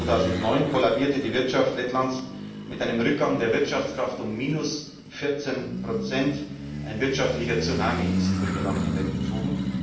2009 kollabierte die Wirtschaft Lettlands mit einem Rückgang der Wirtschaftskraft um 14 Prozent, ein wirtschaftlicher Tsunami ist über Ihr Land hinweggezogen.